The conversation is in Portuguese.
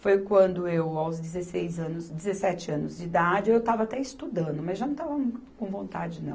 Foi quando eu, aos dezesseis anos, dezessete anos de idade, eu estava até estudando, mas já não estava com vontade, não.